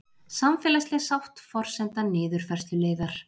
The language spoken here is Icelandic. Samfélagsleg sátt forsenda niðurfærsluleiðar